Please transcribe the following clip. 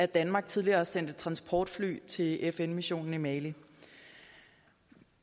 danmark tidligere sendte et transportfly til fn missionen i mali